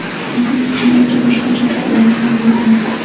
O‘zimiz ham ancha boshqacha fikrlaydigan bo‘lganmiz.